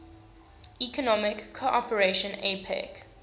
economic cooperation apec